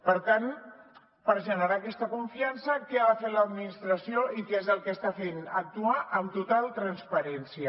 per tant per generar aquesta confiança què ha de fer l’administració i què és el que està fent actuar amb total transparència